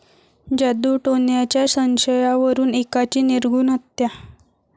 जादूटोण्याच्या संशयावरून एकाची निर्घृण हत्या